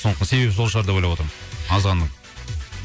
сондықтан себебі сол шығар деп ойлап отырмын азғанның